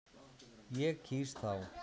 Ég kýs þá.